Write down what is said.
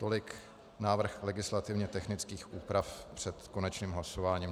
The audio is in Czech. Tolik návrh legislativně technických úprav před konečným hlasováním.